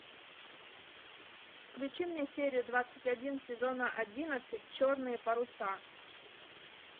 включи мне серию двадцать один сезона одиннадцать черные паруса